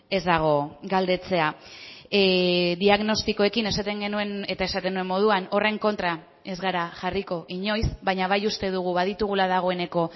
ez dago galdetzea diagnostikoekin esaten genuen eta esaten nuen moduan horren kontra ez gara jarriko inoiz baina bai uste dugu baditugula dagoeneko